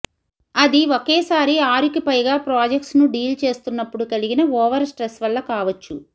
అది ఒకేసారి ఆరుకి పైగా ప్రాజెక్ట్స్ను డీల్ చేస్తున్నప్పుడు కలిగిన ఓవర్ స్ట్రెస్ వల్ల కావొచ్చు